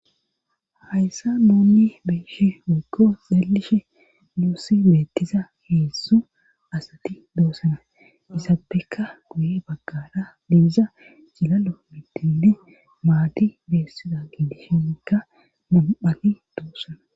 hayssa moonni beeshe woggo zaelishe duussi beettiza heessu asati doosana isappeka guye baggara dibiza cilalo middinne maati beessida gindishinikka mam7ani doossana